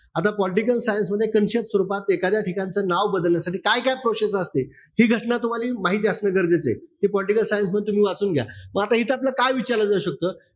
आता political science मध्ये concept स्वरूपात एखाद्या ठिकाणच नाव बदलण्यासाठी काय-काय process असते. हि घटना तुम्हाला माहिती असणं गरजेचं आहे. ते political science मध्ये तुम्ही वाचून घ्या. म इथं आपलं काय विचारलं जाऊ शकत?